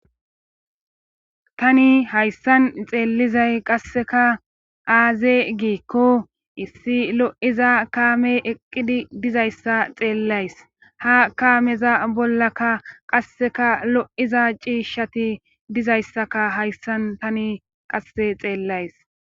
tani hayssan xeellizay qasseka aaze giikko issi lo'iza kaame eqqidi dizayssa xeellays ha kaameza bollaka qasseka lo'iza ciishshati dizayssaka hayssan tani qasse xeellays